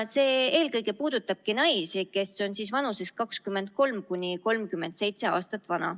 See puudutab eelkõige naisi vanuses 23–37 aastat.